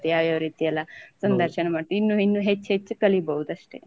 ಯಾವ್ ಯಾವ್ ರೀತಿ ಎಲ್ಲ ಸಂದರ್ಶನ ಮಾಡ್ತಾರೆ ಇನ್ನು ಇನ್ನು ಹೆಚ್ಚು ಹೆಚ್ಚು ಕಲಿಬೋದು ಅಷ್ಟೆ.